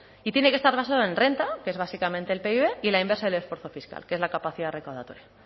y tiene que estar basado en renta que es básicamente el pib y la inversa del esfuerzo fiscal que es la capacidad recaudatoria